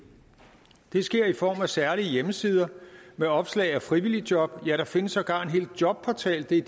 det sker i form af særlige hjemmesider med opslag af frivilligejob ja der findes sågar en hel jobportal det er